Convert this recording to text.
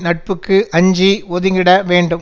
நட்புக்கு அஞ்சி ஒதுங்கிட வேண்டும்